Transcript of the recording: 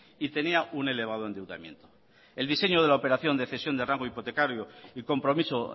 y tenía un elevado endeudamiento el diseño de la operación de cesión de rango hipotecaria y compromiso